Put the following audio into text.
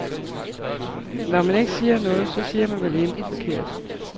Når man ikke siger noget, så siger man vel intet forkert.